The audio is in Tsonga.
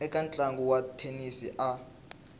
eka ntlangu wa thenisi a